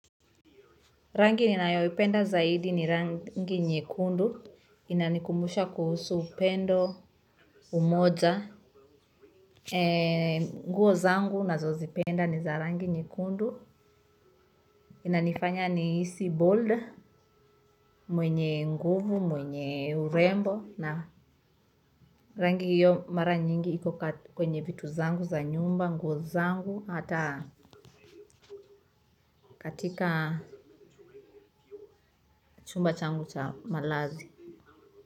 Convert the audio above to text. Rangi ninayoipenda zaidi ni rangi nyekundu, inanikumbusha kuhusu upendo umoja, nguo zangu nazozipenda ni za rangi nyekundu, inanifanya nihisi bold mwenye nguvu, mwenye urembo na rangi hiyo mara nyingi iko kwenye vitu zangu za nyumba, nguo zangu, hata katika chumba changu cha malazi.